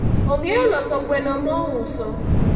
ong'eyo loso gweno mouso